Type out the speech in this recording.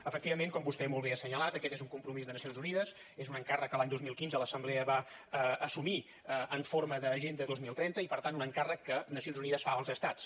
efectivament com vostè molt bé ha assenyalat aquest és un compromís de nacions unides és un encàrrec que l’any dos mil quinze l’assemblea va assumir en forma d’agenda dos mil trenta i per tant un encàrrec que nacions unides fa als estats